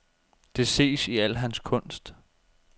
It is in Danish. Det ses i al hans kunst.